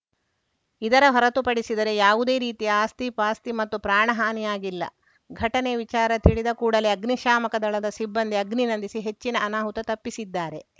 ಇದರ ಹೊರತುಪಡಿಸಿದರೆ ಯಾವುದೇ ರೀತಿಯ ಆಸ್ತಿ ಪಾಸ್ತಿ ಮತ್ತು ಪ್ರಾಣಹಾನಿಯಾಗಿಲ್ಲ ಘಟನೆ ವಿಚಾರ ತಿಳಿದ ಕೂಡಲೇ ಅಗ್ನಿಶಾಮಕ ದಳದ ಸಿಬ್ಬಂದಿ ಅಗ್ನಿ ನಂದಿಸಿ ಹೆಚ್ಚಿನ ಅನಾಹುತ ತಪ್ಪಿಸಿದ್ದಾರೆ